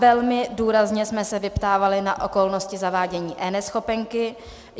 Velmi důrazně jsme se vyptávali na okolnosti zavádění eNeschopenky.